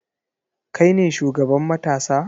Kai ne shugaban matasa?